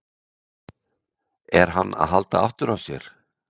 Er hann að halda aftur af sér?